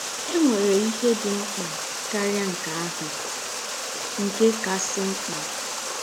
É nwèrè íhè dị̀ ḿkpà káríà nkè áhụ̀ — nkè kàsị́ ḿkpà